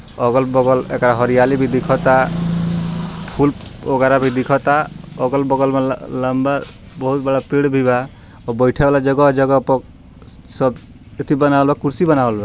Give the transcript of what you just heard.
अलग-बगल एकरा हरियाली भी दिखता फूल ओगैरा भी दिखता अगल-बगल में लंबा बहुत बड़ा पेड़ भी बा और बैठे वाला जगह-जगह पर सब एथी बनावल बा कुर्सी बनावल बा।